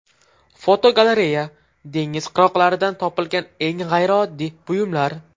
Fotogalereya: Dengiz qirg‘oqlaridan topilgan eng g‘ayrioddiy buyumlar.